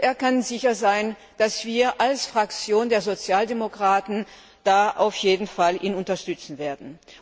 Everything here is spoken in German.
Er kann sicher sein, dass wir als Fraktion der Sozialdemokraten ihn auf jeden Fall unterstützen werden.